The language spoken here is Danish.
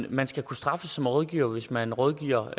at man skal kunne straffes som rådgiver hvis man rådgiver